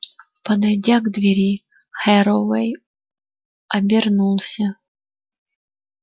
подойдя к двери херроуэй обернулся